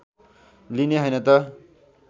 लिने हैन त